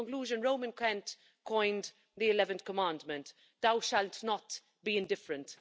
And in conclusion, Roman Kent coined the eleventh commandment Thou shalt not be indifferent'.